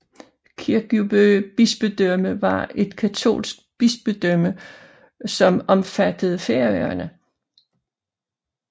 Kirkjubø bispedømme var et katolsk bispedømme som omfattede Færøerne